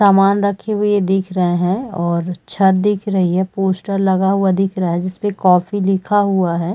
सामान रखी हुई दिख रहें हैं और छत्त दिख रही है पोस्टर लगा हुआ दिख रहा है जिसपे कॉफ़ी लिखा हुआ है।